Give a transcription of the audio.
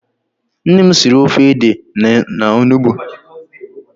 Nne m siri ofe ede na onugbu.